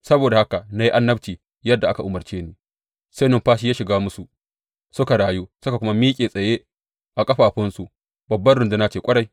Saboda haka na yi annabci yadda aka umarce ni, sai numfashi ya shiga musu; suka rayu suka kuma miƙe tsaye a ƙafafunsu babbar runduna ce ƙwarai.